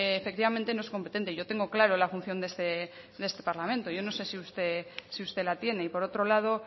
efectivamente no es competente yo tengo clara la función de este de este parlamento yo no sé si usted la tiene y por otro lado